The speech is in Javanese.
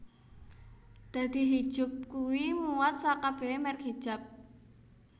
Dadi Hijup kui muat sak kabehe merk jilbab